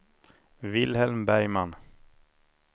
Wilhelm Bergman